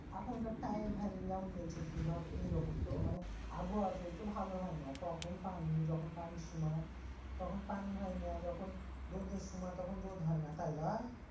এখনকার time ঠাইমগুলা ধর এইরকম তো মানে আবহাওয়া টোই তো ভালো হয় না কখন পানি যিখন পানির সময় তখন পানি হয় না যখন রোদ এর সময় তখন রোদ হয় না তাই লই?